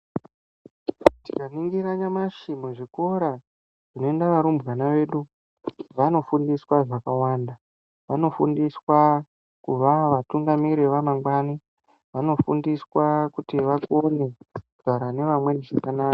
Tikaringira nyamashi muzvikora munoenda varumbwana vedu, vanofundiswa zvakawanda. Vanofundiswa kuva vatungamiri vamangwani. Vanofundiswa kuti vakone kugara navamwe zvakanaka.